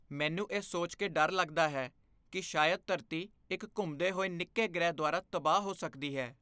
ਮੈਨੂੰ ਇਹ ਸੋਚ ਕੇ ਡਰ ਲੱਗਦਾ ਹੈ ਕਿ ਸ਼ਾਇਦ ਧਰਤੀ ਇੱਕ ਘੁੰਮਦੇ ਹੋਏ ਨਿੱਕੇ ਗ੍ਰਹਿ ਦੁਆਰਾ ਤਬਾਹ ਹੋ ਸਕਦੀ ਹੈ।